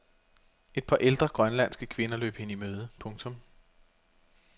Et par ældre grønlandske kvinder løb hende i møde. punktum